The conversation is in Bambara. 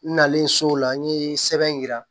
N nalen so o la n ye sɛbɛn yira